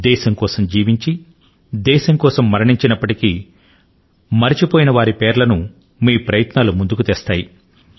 దేశం కోసం జీవించి దేశం కోసం మరణించినప్పటికీ మరచిపోయిన వారి పేరులను మీ ప్రయత్నాలు ముందుకు తెస్తాయి